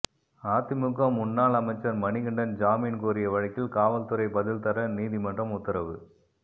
அதிமுக முன்னாள் அமைச்சர் மணிகண்டன் ஜாமின் கோரிய வழக்கில் காவல்துறை பதில் தர நீதிமன்றம் உத்தரவு